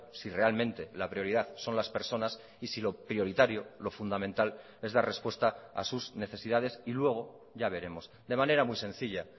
si realmente la prioridad son las personas y si lo prioritario lo fundamental es dar respuesta a sus necesidades y luego ya veremos de manera muy sencilla